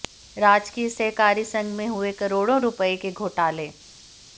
राजकीय सहकारी संघ में हुए करोड़ो रूपए के घोटाले